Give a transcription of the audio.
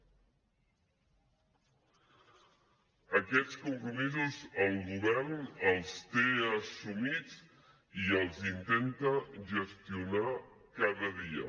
aquests compromisos el govern els té assumits i els intenta gestionar cada dia